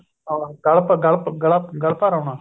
ਅਹ ਗਲ ਗਲਾ ਗਲ ਭਰ ਆਉਣਾ